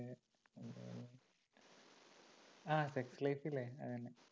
അഹ് sex life ഇല്ലേ അത് തന്നെ